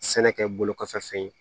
Sɛnɛkɛ bolokɔfɛ fɛn ye